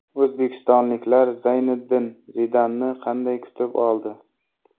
O‘zbekistonliklar Zayniddin Zidanni qanday kutib oldi?